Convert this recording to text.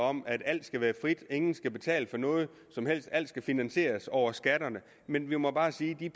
om at alt skal være frit at ingen skal betale for noget som helst at alt skal finansieres over skatterne men vi må bare sige